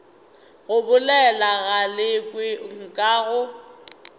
go bolela galekwe nka go